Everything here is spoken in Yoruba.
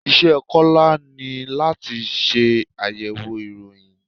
Iṣẹ́ Kọ́lá ni láti ṣe àyẹ̀wò ìròyìn.